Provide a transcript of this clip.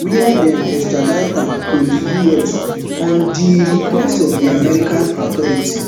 wia dem extradite am to di us on di um request of american authorities